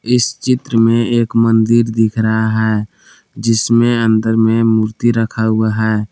इस चित्र में एक मंदिर दिख रहा है जिसमें अंदर में मूर्ति रखा हुआ है।